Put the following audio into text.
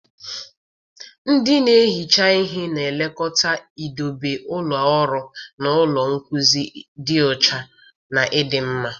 Ndị na-ehicha ihe na-elekọta idobe ụlọ ọrụ na ụlọ nkuzi dị ọcha na ịdị mma.